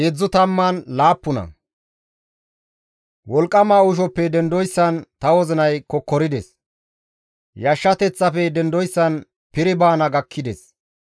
«Wolqqama uushoppe dendoyssan ta wozinay kokkorides; Yashshateththafe dendoyssan piri baana gakkides.